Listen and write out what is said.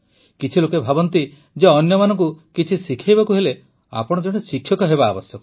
କିଛି ଲୋକ ଭାବନ୍ତି ଯେ ଅନ୍ୟମାନଙ୍କୁ କିଛି ଶିଖାଇବାକୁ ହେଲେ ଆପଣ ଜଣେ ଶିକ୍ଷକ ହେବା ଆବଶ୍ୟକ